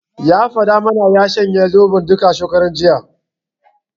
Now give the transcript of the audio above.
Ya faɗa mana ya shanye duka Zoɓon, shekaran jiya.